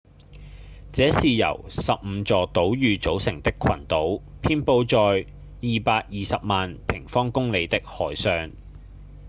這是由15座島嶼組成的群島遍佈在220萬平方公里的海上